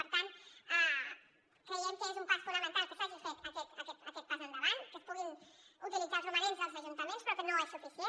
per tant creiem que és un pas fonamental que s’hagi fet aquest pas endavant que es puguin utilitzar els romanents dels ajuntaments però que no és suficient